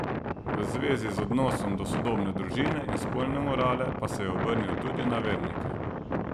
V zvezi z odnosom do sodobne družine in spolne morale pa se je obrnil tudi na vernike.